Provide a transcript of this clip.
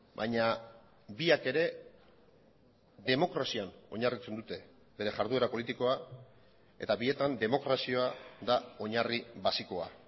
baina biak ere demokrazian oinarritzen dute bere jarduera politikoa eta bietan demokrazia da oinarri basikoa